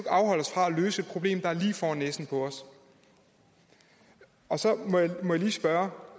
afholde os fra at løse et problem der er lige foran næsen på os og så må jeg lige spørge